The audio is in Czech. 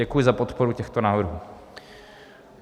Děkuji za podporu těchto návrhů.